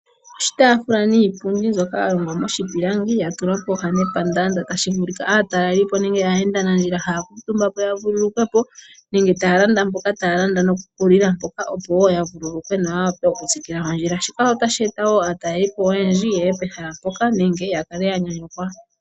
Oshitaafula niipundi mbyoka ya longwa miipilangi ya tulwa pooha nepandaanda. Tashi vulika aatalelipo nenge aayenda nandjila haya ya kuutumbapo ya vululu kwepo. Nenge mboka taya landa mpoka taya landa noku lila mpoka. Opowo ya vululukwe noya wape oku tsikila ondjila. Shika otashi eta wo aatalelipo oyendji yeye pehala mpoka nenge ya kale ya nyanyukwa.